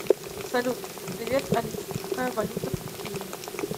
салют привет алиса какая валюта в пекине